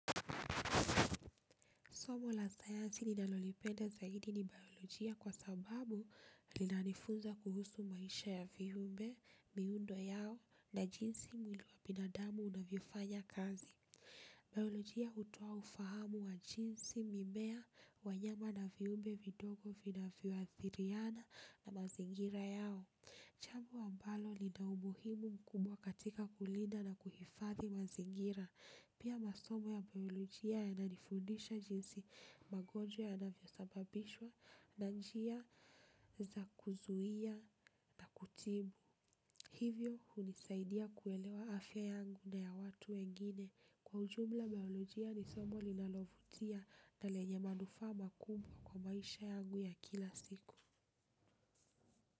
Somo la sayansi ninalolipenda zaidi ni biolojia kwa sababu linanifunza kuhusu maisha ya viumbe, miundo yao na jinsi mwili wa binadamu unavyofanya kazi. Biolojia hutoa ufahamu wa jinsi mimea, wanyama na viumbe vidogo vinavyoathiriana na mazingira yao. Jambo ambalo lina umuhimu mkubwa katika kulinda na kuhifadhi mazingira. Pia masomo ya biolojia yananifundisha jinsi magonjwa yana vyosababishwa na njia za kuzuia na kutibu. Hivyo hunisaidia kuelewa afya yangu na ya watu wengine. Kwa ujumla biolojia ni somo linalovutia na lenye manufaa makubwa kwa maisha yangu ya kila siku.